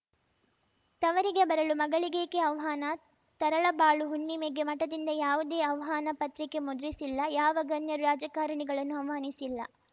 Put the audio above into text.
ತವರಿಗೆ ಬರಲು ಮಗಳಿಗೇಕೆ ಆಹ್ವಾನ ತರಳಬಾಳು ಹುಣ್ಣಿಮೆಗೆ ಮಠದಿಂದ ಯಾವುದೇ ಆಹ್ವಾನ ಪತ್ರಿಕೆ ಮುದ್ರಿಸಿಲ್ಲ ಯಾವ ಗಣ್ಯರು ರಾಜಕಾರಣಿಗಳನ್ನೂ ಆಹ್ವಾನಿಸಿಲ್ಲ